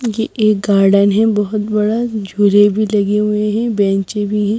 ये एक गार्डन है बहुत बड़ा झूले भी लगे हुए हैं बेंचे भी हैं।